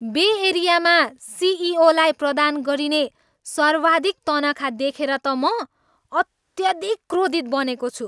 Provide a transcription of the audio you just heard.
बे एरियामा सिइओलाई प्रदान गरिने सर्वाधिक तनखा देखेर त म अत्याधिक क्रोधित बनेको छु।